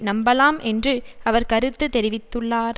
நம்பலாம் என்று அவர் கருத்து தெரிவித்துள்ளார்